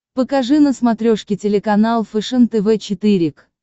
покажи на смотрешке телеканал фэшен тв четыре к